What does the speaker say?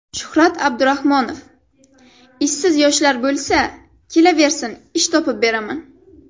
Shuhrat Abdurahmonov: Ishsiz yoshlar bo‘lsa, kelaversin ish topib beraman.